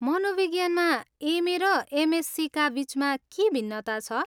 मनोविज्ञानमा M A. र एमएससीका बिचमा के भिन्नता छ?